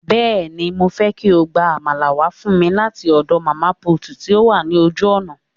Bẹ́ẹ̀ni, mo fẹ́ kí o gba Àmàlà wá fún mi láti ọ̀dọ̀ màmá put tí ó wà ní ojú ọ̀nà